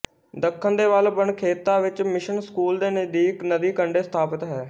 ਦੱਖਣ ਦੇ ਵੱਲ ਬਨਖੇਤਾ ਵਿੱਚ ਮਿਸ਼ਨ ਸਕੂਲ ਦੇ ਨਜ਼ਦੀਕ ਨਦੀ ਕੰਡੇ ਸਥਾਪਤ ਹੈ